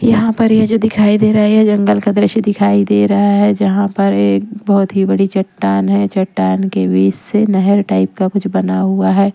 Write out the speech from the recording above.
यहां पर ये जो दिखाई दे रहा है जंगल का दृश्य दिखाई दे रहा है जहां पर एक बहुत ही बड़ी चट्टान है चट्टान के बीच से नहर टाइप का कुछ बना हुआ है।